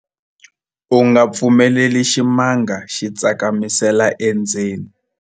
u nga pfumeleli ximanga xi tsakamisela endzeni